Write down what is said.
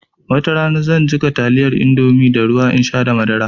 Watarana zan jiƙa taliyar indomie da ruwa in sha da madara